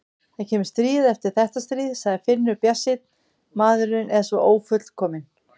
Það kemur stríð eftir þetta stríð, sagði Finnur bjartsýnn, maðurinn er svo ófullkominn.